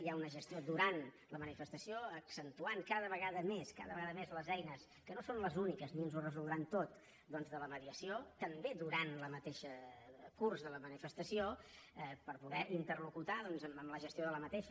hi ha una gestió durant la manifestació accentuant cada vegada més cada vegada més les eines que no són les úniques ni ens ho resoldran tot doncs de la mediació també durant el mateix curs de la manifestació per poder interlocutar amb la gestió d’aquesta